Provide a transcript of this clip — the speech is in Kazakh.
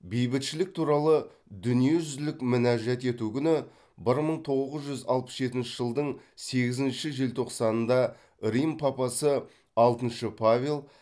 бейбітшілік туралы дүниежүзілік мінәжат ету күні бір мың тоғыз жүз алпыс жетінші жылдың сегізінші желтоқсанында рим папасы алтыншы павел